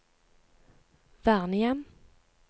vernehjem